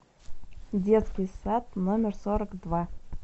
детский сад номер сорок два